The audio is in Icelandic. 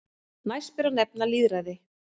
Næst ber að nefna lýðræði.